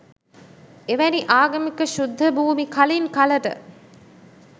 එවැනි ආගමික ශුද්ධභූමි කලින් කලට